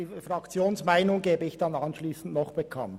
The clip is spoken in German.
Die Fraktionsmeinung gebe ich anschliessend bekannt.